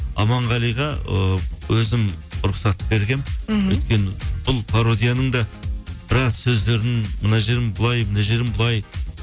аманғалиға ыыы өзім рұқсат бергенмін мхм өйткені бұл пародияның да біраз сөздерін мына жерін былай мына жерін былай